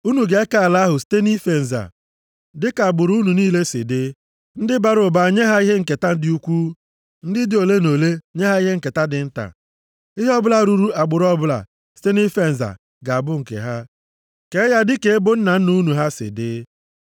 Unu ga-eke ala ahụ site nʼife nza, dịka agbụrụ unu niile si dị. Ndị bara ụba nye ha ihe nketa dị ukwuu, ndị dị ole na ole nye ha ihe nketa dị nta. Ihe ọ bụla ruuru agbụrụ ọbụla site nʼife nza ga-abụ nke ha. Kee ya dịka ebo nna nna unu ha si dị.